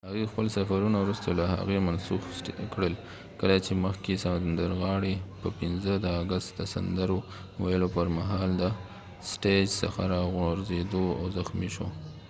هغوۍ خپل سفرونه وروسته له هغې منسوخ کړل کله چې مخکښ سندرغاړی steven tyler په 5 د آګست د سندرو ویلو پر مهال د سټیج څخه راوغورځید او زخمی شو